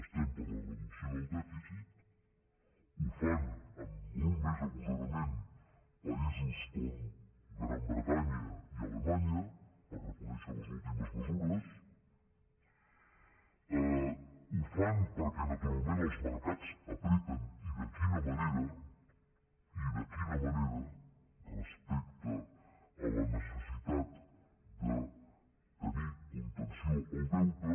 estem per la reducció del dèficit ho fan amb molt més agosarament països com la gran bretanya i alemanya per reconèixer les últimes mesures ho fan perquè naturalment els mercats apreten i de quina manera i de quina manera respecte a la necessitat de tenir contenció al deute